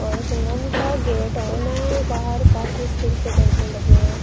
और का gate on है बाहर काफी स्टील के जंगले लगे हैं।